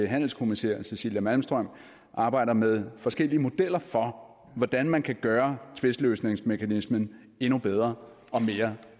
handelskommissær cecilia malmström arbejder med forskellige modeller for hvordan man kan gøre tvistløsningsmekanismen endnu bedre og mere